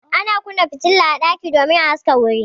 Ana kunna fitila a ɗaki domin a haska wuri.